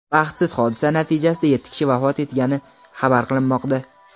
Baxtsiz hodisa natijasida yetti kishi vafot etgani xabar qilinmoqda.